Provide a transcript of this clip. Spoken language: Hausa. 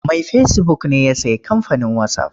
Mai fesibuk ne ya sayi kamfanin wasaf.